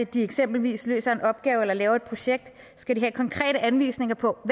de eksempelvis løser en opgave eller laver et projekt skal de have konkrete anvisninger på